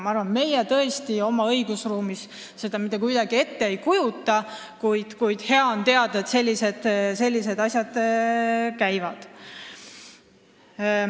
Ma arvan, et meie oma õigusruumis seda tõesti mitte kuidagi ette ei kujuta, kuid hea on teada, et sellised asjad toimuvad.